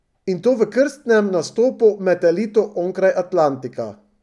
In to v krstnem nastopu med elito onkraj Atlantika!